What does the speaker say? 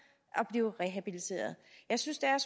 at blive rehabiliteret jeg synes det er